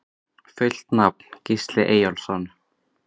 Fullt nafn: Gísli Eyjólfsson